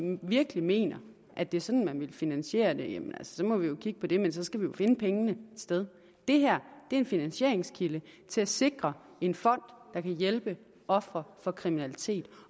virkelig mener at det er sådan man vil finansiere det så må vi jo kigge på det men så skal vi jo finde pengene et sted det her er en finansieringskilde til at sikre en fond der kan hjælpe ofre for kriminalitet